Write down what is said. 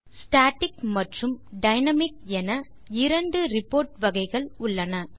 static மற்றும் dynamic என இரண்டு ரிப்போர்ட்ஸ் வகைகள் உள்ளன